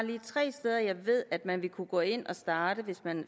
tre steder hvor jeg ved at man vil kunne gå ind og starte hvis man